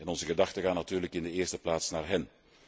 Onze gedachten gaan natuurlijk in de eerste plaats naar hen.